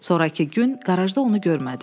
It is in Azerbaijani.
Sonrakı gün qarajda onu görmədim.